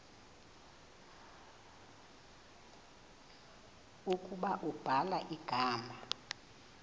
ukuba ubhala igama